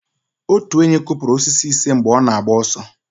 Otu enyí kụpụrụ osisi ise mgbe ọ na-agba ọsọ